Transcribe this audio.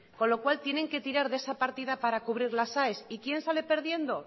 con lo cual tienen que tirar de esa partida para cubrir las aes y quién sale perdiendo